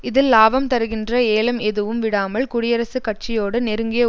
இதில் லாபம் தருகின்ற ஏலம் எதுவும் விடாமல் குடியரசுக் கட்சியோடு நெருங்கிய